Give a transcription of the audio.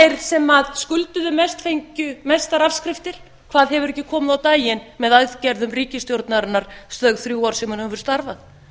þeir sem skulduðu mest fengju mestar afskriftir hvað hefur ekki komi á daginn með aðgerðum ríkisstjórnarinnar þau þrjú ár sem hún hefur starfað